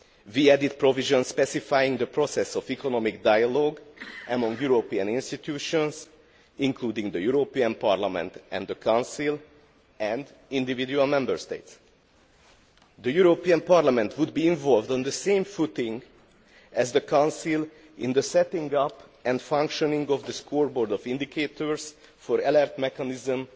We have added provisions specifying the process of economic dialogue among European institutions including the European Parliament, the Council and individual Member States. The European Parliament would be involved on the same footing as the Council in the setting up and functioning of the scoreboard of indicators for an alert mechanism